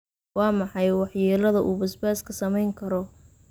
Waa maxay waxyeelada uu basbaaska samayn karo?